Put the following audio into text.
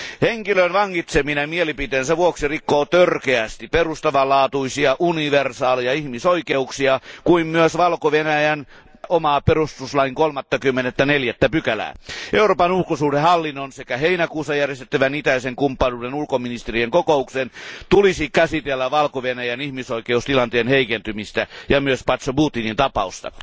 Henkilön vangitseminen mielipiteensä vuoksi rikkoo törkeästi perustavanlaatuisia, universaaleja ihmisoikeuksia, kuten myös Valko Venäjän oman perustuslain 34 pykälää. Euroopan ulkosuhdehallinnon sekä heinäkuussa järjestettävän itäisen kumppanuuden ulkoministerien kokouksen tulisi käsitellä Valko Venäjän ihmisoikeustilanteen heikentymistä ja myös Poczobutin tapausta.